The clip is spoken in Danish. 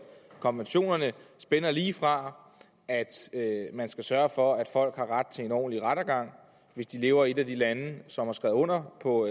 konventionerne spænder lige fra at man skal sørge for at folk har ret til en ordentlig rettergang hvis de lever i et af de lande som har skrevet under på